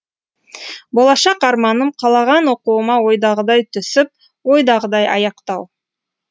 болашақ арманым қалаған оқуыма ойдағыдай түсіп ойдағыдай аяқтау